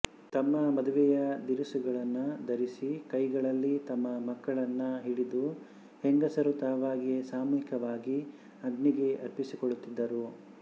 ತಮ್ಮ ಮದುವೆಯ ದಿರಿಸುಗಳನ್ನು ಧರಿಸಿಕೈಗಳಲ್ಲಿ ತಮ್ಮ ಮಕ್ಕಳನ್ನು ಹಿಡಿದುಹೆಂಗಸರು ತಾವಾಗಿಯೇ ಸಾಮೂಹಿಕವಾಗಿ ಅಗ್ನಿಗೆ ಅರ್ಪಿಸಿಕೊಳ್ಳುತ್ತಿದ್ದರು